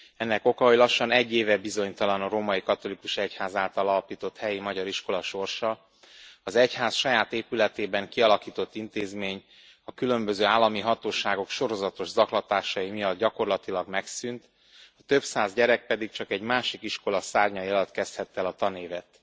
Ennek oka, hogy lassan egy éve bizonytalan a római katolikus egyház által alapított helyi magyar iskola sorsa, az egyház saját épületében kialakított intézmény a különböző állami hatóságok sorozatos zaklatásai miatt gyakorlatilag megszűnt, a több száz gyerek pedig csak egy másik iskola szárnyai alatt kezdhette el a tanévet.